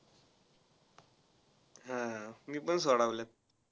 हा हा मी पण सोडवल्यात.